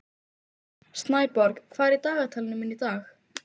Snæborg, hvað er í dagatalinu mínu í dag?